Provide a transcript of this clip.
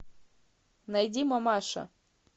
найди мамаша